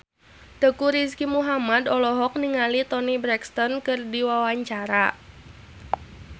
Teuku Rizky Muhammad olohok ningali Toni Brexton keur diwawancara